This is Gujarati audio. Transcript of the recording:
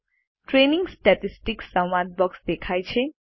ટ્રેનિંગ સ્ટેટિસ્ટિક્સ સંવાદ બોક્સ દેખાય છે